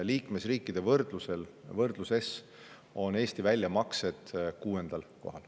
Liikmesriikide võrdluses on Eesti väljamaksete arvestuses 6. kohal.